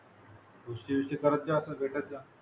भेटत जा